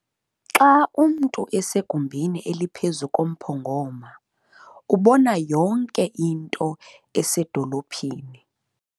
Xa umntu esegumbini eliphezu komphongoma ubona yonke into esedolophini.